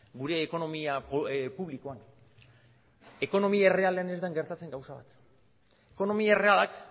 gure ekonomia publikoan ekonomia errealean ez den gertatzen gauza bat ekonomia errealak